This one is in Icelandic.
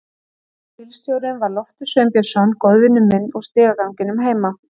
Einn af bílstjórunum var Loftur Sveinbjörnsson, góðvinur minn úr stigaganginum heima.